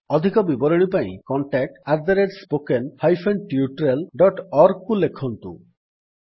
ଅଧିକ ବିବରଣୀ ପାଇଁ contact spoken hyphen tutorial dot org contactspoken tutorialଓଆରଜିକୁ ଲେଖନ୍ତୁ